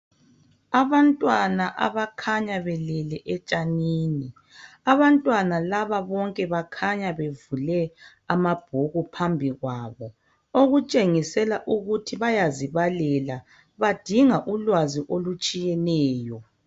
Abantwana abakhanya behlezi etshanini abantwana laba bonke bakhanya bevule amabhuku phambi kwabo okutshengisela ukuthi bayazibalela badinga ulwazi olutshiyeneyo.